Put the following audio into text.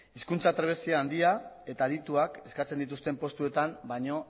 hizkuntza trebezia handia eta adituak eskatzen dituzten postuetan baino